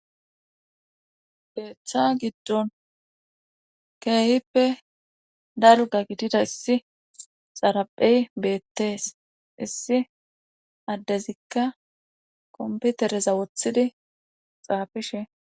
Keetha giddon keehippe dalgga gidida issi xaraphe beetees isssi addezikka komppitereza wothidi xaaafishe.